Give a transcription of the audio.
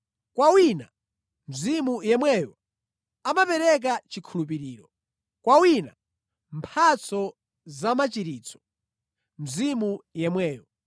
Kwa wina, Mzimu yemweyo amapereka chikhulupiriro, kwa wina mphatso zamachiritso, Mzimu yemweyo.